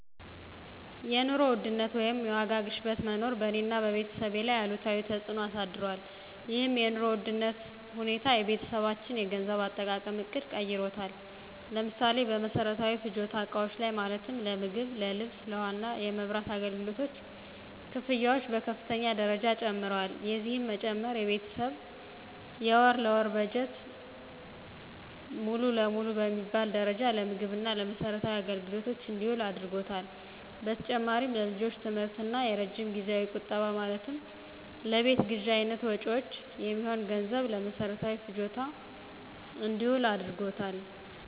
የኑሮ ውድነት ወይም የዋጋ ግሽበት መኖር በእኔ እና በቤተሰቤ ላይ አሉታዊ ተፅዕኖ አሳድሯል። ይህም የኑሮ ውድነት ሁኔታ የቤተሰባችንን የገንዘብ አጠቃቀም ዕቅድ ቀይሮታል። ለምሳሌ፦ በመሰረታዊ ፍጆታ እቃዎች ላይ ማለትም ለምግብ፣ ለልብስ፣ ለውሃ እና የመብራት አገልግሎት ክፍያዎች በከፍተኛ ደረጃ ጨምረዋል። የዚህም መጨመር የቤተሰብ የወር ለወር በጀት ሙሉ ለሙሉ በሚባል ደረጃ ለምግብ እና ለመሰረታዊ አገልግሎቶች እንዲውል አድርጓታል። በተጨማሪም ለልጆች የትምህርት እና የረጅም ጊዜያዊ ቁጠባ ማለትም ለቤት ግዥ አይነት መጭወች የሚሆን ገንዘብም ለመሰረታዊ ፍጆታ እንዲውል አድርጎታል።